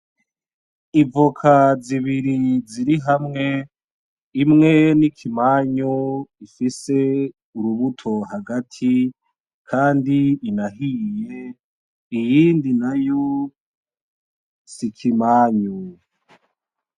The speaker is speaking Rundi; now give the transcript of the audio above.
Ivoka z'ibiri zirihamwe imwe n'ikimanyu ifise urubuto hagati Kandi inahiye, Iyindi nayo s'ikimanyu.